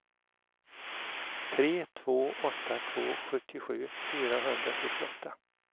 tre två åtta två sjuttiosju fyrahundrafyrtioåtta